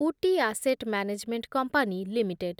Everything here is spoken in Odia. Ooty asset management company limited